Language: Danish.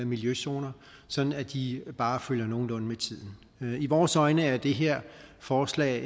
miljøzoner sådan at de bare følger nogenlunde med tiden i vores øjne er det her forslag